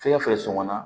Fɛn fɛn sɔngɔ na